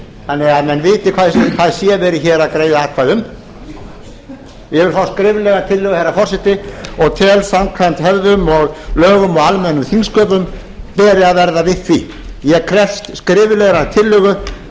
þannig að menn viti hvað hér er verið að greiða atkvæði um ég vil fá skriflega tillögu herra forseti og tel að samkvæmt hefðum lögum og almennum þingsköpum beri að verða við því ég krefst skriflegrar tillögu